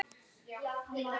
sagði Ragnar.